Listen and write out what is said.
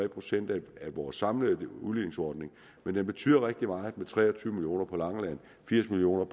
procent af vores samlede udligningsordning men det betyder rigtig meget med tre og på langeland firs million